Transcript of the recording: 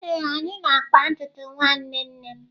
Ee, anyị na-akpa ntutu nwanne nne m.